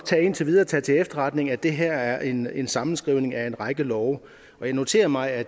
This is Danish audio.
indtil videre tage til efterretning at det her er en en sammenskrivning af en række love og jeg noterer mig at